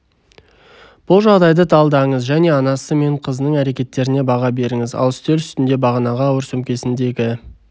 бұл жағдайды талдаңыз және анасы мен қызының әрекеттеріне баға беріңіз ал үстел үстінде бағанағы ауыр сөмкесіндегі